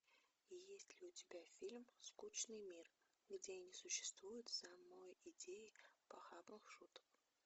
есть ли у тебя фильм скучный мир где не существует самой идеи похабных шуток